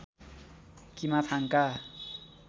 Kimathanka